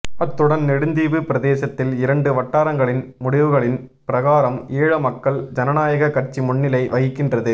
அத்துடன் நெடுந்தீவு பிரதேசத்தில் இரண்டு வட்டாரரங்களின் முடிவுகளின் பிரகாரம் ஈழ மக்கள் ஜனாநாயக கட்சி முன்னிலை வகிக்கின்றது